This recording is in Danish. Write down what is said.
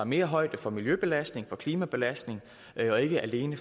mere højde for miljøbelastning klimabelastning og ikke alene